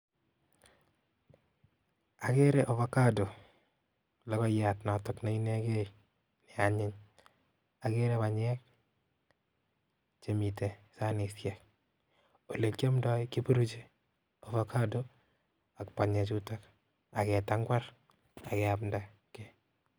Akere ovacado logoiyat notok neinegei neanyiny agere banyek chemite sanisiek ole kiandoi keburuchi ovacado ak banyechutok ake tangwar ageamdaki.